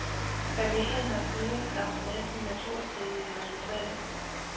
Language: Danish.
Familien har siden skabt næsten naturstridige resultater.